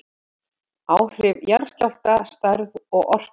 Áhrif jarðskjálfta, stærð og orka